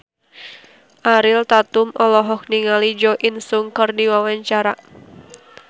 Ariel Tatum olohok ningali Jo In Sung keur diwawancara